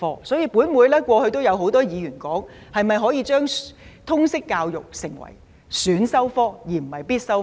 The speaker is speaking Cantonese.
所以，本會過去有很多議員建議將通識教育成為選修科，而非必修科。